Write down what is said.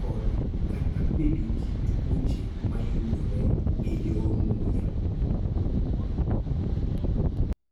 kod/kata bedo gi tuoche ma yudore e yor muya.